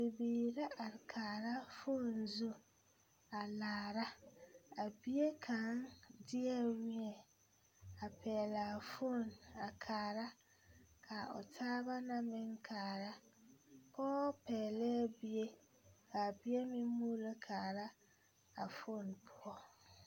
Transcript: Bibiiri la are kaara foone zu a laara a bie kaŋ deɛ wēɛ a pɛɛle a foone a kaara ka a o taaba na meŋ kaara pɔɔ pɛɛlɛɛ bie ka a bie meŋ muulo kaara a foone poɔ.